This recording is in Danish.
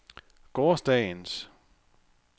gårsdagens